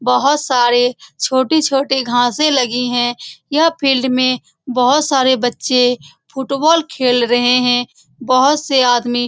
बहुत सारे छोटे-छोटे घासे लगे हुए हैं यह फील्ड में बहुत सारे बच्चे फुटबॉल खेल रहे हैं बहुत से आदमी --